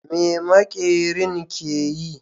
Me maƙerin ke yi?